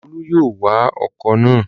Olú yóò wa ọkọ̀ náà